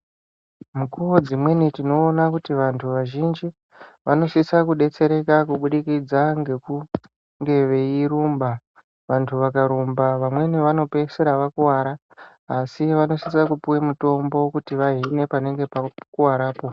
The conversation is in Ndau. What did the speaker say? Nguwa dzimweni tinoona kuti vantu vazhinji vanosisa kudetsereka kubudikidza ngekunge veirumba , vantu vakarumba vamweni vanopeisira vakuwara asi vanosisa kupuwe mutombo kuti vahile panenge pakuwarapo